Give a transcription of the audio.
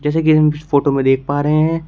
जैसे की हम फोटो में देख पा रहे हैं।